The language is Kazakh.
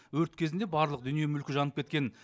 өрт кезінде барлық дүние мүлкі жанып кеткен